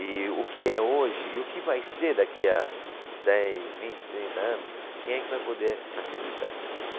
e o que é hoje e o que vai ser daqui a dez, vinte, trinta anos, quem é que vai poder acreditar?